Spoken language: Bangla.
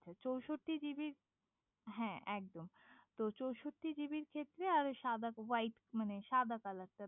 RAM চৌষট্টি জিবির হ্যাঁ একদম তো চৌষট্টি জিবির ক্ষেত্রে সাদা ওহীতে মানে সাদা কালারটা